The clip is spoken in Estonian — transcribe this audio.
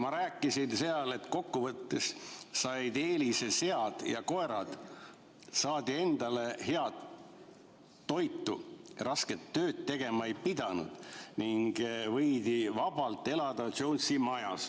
Ma rääkisin, et kokkuvõttes said eelise sead ja koerad, saadi endale head toitu, rasket tööd tegema ei pidanud ning võidi vabalt elada Jonesi majas.